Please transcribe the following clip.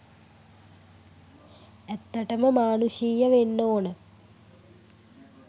ඇත්තටම මානුෂීය වෙන්න ඕන.